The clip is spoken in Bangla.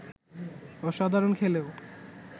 অসাধারণ খেলেও